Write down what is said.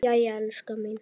Jæja, elskan mín.